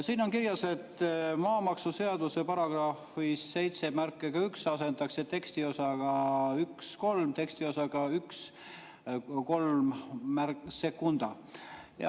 Siin on kirjas, et maamaksuseaduse §-s 71 asendatakse tekstiosa "1–3" tekstiosaga "1–32".